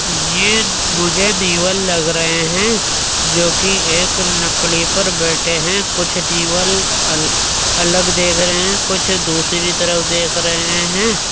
ये मुझे नेवल लग रहे हैं जोकि एक लकड़ी पर बैठे हैं कुछ नेवल अल अलग देख रहे हैं कुछ दूसरी तरफ देख रहे हैं।